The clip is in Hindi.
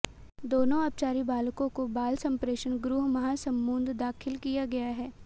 दोनों अपचारी बालकों को बाल संप्रेक्षण गृह महासमुंद दाखिल किया गया है